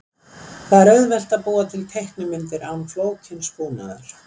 Það er auðvelt að búa til teiknimyndir án flókins búnaðar.